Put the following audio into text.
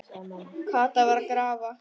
Kata var að grafa.